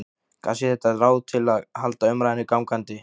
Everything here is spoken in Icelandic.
Kannski er þetta ráð til að halda umræðunni gangandi.